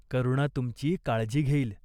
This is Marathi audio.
करुणा तुमची काळजी घेईल.